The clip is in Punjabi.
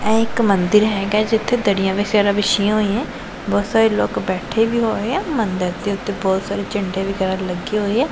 ਇਹ ਇੱਕ ਮੰਦਿਰ ਹੈਗਾ ਐ ਜਿੱਥੇ ਦਰੀਆਂ ਵਗੈਰਾ ਵਿਛੀਆਂ ਹੋਈਐਂ ਬਹੁਤ ਸਾਰੇ ਲੋਕ ਬੈਠੇ ਵੀ ਹੋਏ ਆ ਮੰਦਿਰ ਦੇ ਓੱਤੇ ਬਹੁਤ ਸਾਰੇ ਝੰਡੇ ਵਗੈਰਾ ਵੀ ਲੱਗੇ ਹੋਏ ਆ।